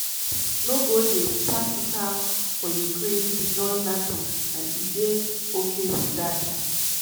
no go dey "practical" for ukraine to join nato and e dey "ok" wit dat.